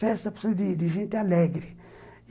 Festa precisa de de de gente alegre.